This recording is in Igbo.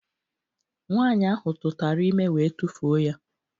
Nwaanyị ahụ tụtara ime wee tufuo ya